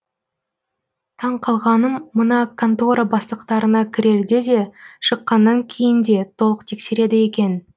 таң қалғаным мына контора бастықтарына кірерде де шыққанан кейін де толық тексереді екен